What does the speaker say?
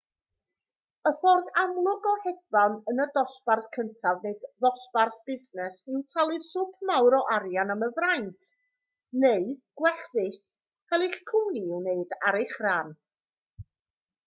y ffordd amlwg o hedfan yn y dosbarth cyntaf neu ddosbarth busnes yw talu swp mawr o arian am y fraint neu gwell fyth cael eich cwmni i'w wneud ar eich rhan